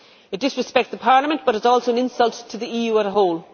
It disrespects Parliament, but it is also an insult to the EU as a whole.